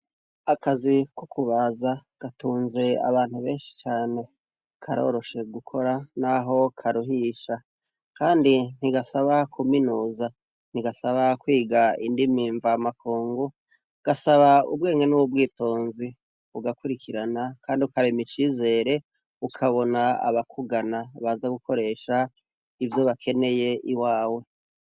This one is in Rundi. Akazi ko kubaza gatunze abantu benshi cane, karoroshe gukora naho karuhisha, kandi ntigasaba kuminuza, ntigasaba kwiga indimi mvamakungu, gasaba ubwenge n'ubwitonzi, ugakurikirana Kandi ukarema icizere ukabona abakugana baza gukoresha ivyo bakenyeye iwawe.